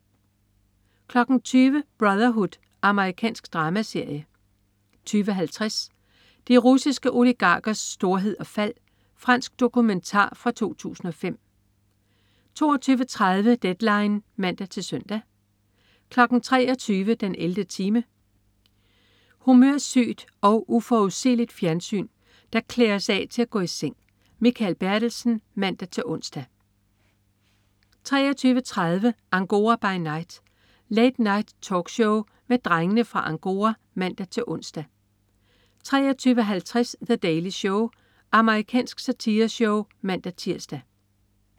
20.00 Brotherhood. Amerikansk dramaserie 20.50 De russiske oligarkers storhed og fald. Fransk dokumentar fra 2005 22.30 Deadline (man-søn) 23.00 den 11. time. Humørsygt og uforudsigeligt fjernsyn, der klæder os af til at gå i seng. Mikael Bertelsen (man-ons) 23.30 Angora by Night. Late Night-talkshow med Drengene fra Angora (man-ons) 23.50 The Daily Show. Amerikansk satireshow (man-tirs)